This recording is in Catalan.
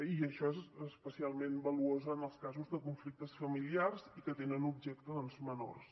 i això és especialment valuós en els casos de conflictes familiars i que tenen com a objecte doncs menors